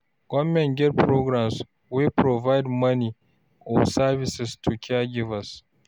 Government fit get programs wey provide money or services to caregivers.